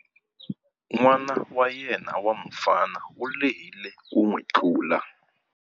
N'wana wa yena wa mufana u lehile ku n'wi tlula.